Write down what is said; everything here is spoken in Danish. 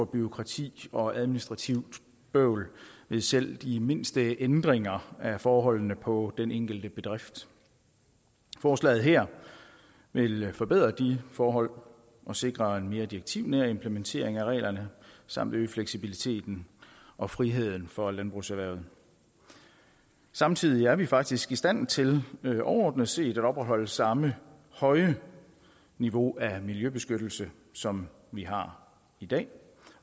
bureaukrati og administrativt bøvl ved selv de mindste ændringer af forholdene på den enkelte bedrift forslaget her vil forbedre de forhold og sikre en mere direktivnær implementering af reglerne samt øge fleksibiliteten og friheden for landbrugserhvervet samtidig er vi faktisk i stand til overordnet set at opretholde samme høje niveau af miljøbeskyttelse som vi har i dag